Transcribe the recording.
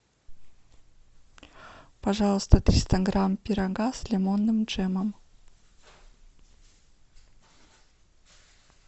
пожалуйста триста грамм пирога с лимонным джемом